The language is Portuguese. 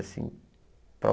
assim para